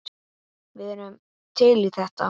Við erum til í þetta.